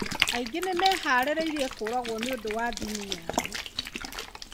Aingĩ nĩmeharĩrĩrie kũragwo nĩũndũ wa ndini yai.